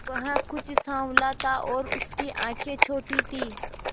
वह कुछ साँवला था और उसकी आंखें छोटी थीं